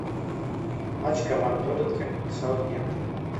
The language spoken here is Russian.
матч команд тоттенхэм и саутгемптон